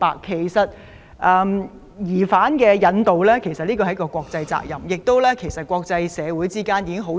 其實，引渡疑犯是國際責任，國際社會亦早已討論相關安排。